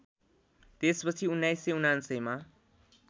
त्यसपछि १९९९ मा